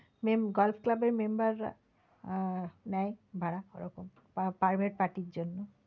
mem~golf club এর member রা আহ নেয় ভাড়া ওরকম private party র জন্য।